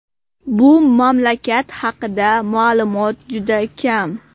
Bu mamlakat haqida ma’lumot juda kam.